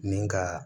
Ni ka